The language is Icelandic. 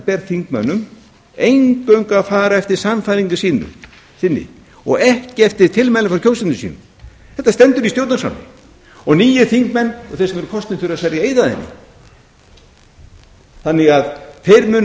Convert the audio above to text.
ber þingmönnum eingöngu að fara eftir sannfæringu sinni og ekki eftir tilmælum frá kjósendum sínum þetta stendur í stjórnarskránni nýir þingmenn og þeir sem eru kosnir þurfa að sverja eið að henni þannig að þeir munu